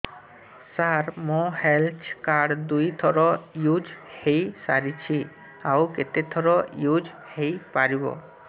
ସାର ମୋ health card ଦୁଇ ଥର ୟୁଜ଼ ହୈ ସାରିଛି ଆଉ କେତେ ଥର ୟୁଜ଼ ହୈ ପାରିବ